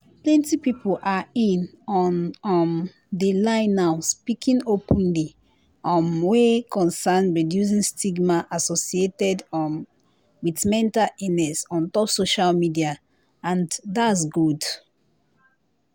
plenti pipo are i no um de lie now speaking openly um wey concern reducing stigma associated um wit mental illness on top social media and that’s gud.